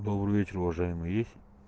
добрый вечер уважаемый есть